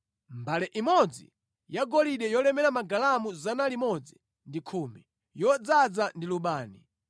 mbale imodzi yagolide yolemera magalamu 110, yodzaza ndi lubani,